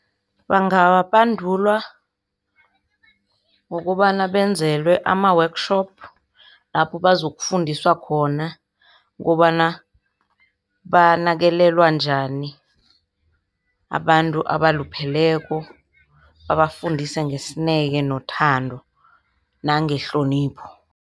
Bangabandulwa ngokobana benzelwe ama-workshop, lapho bazokufundiswa khona kobana banakelelwa njani abantu abalupheleko babafundise ngesineke nothando nangehlonipho.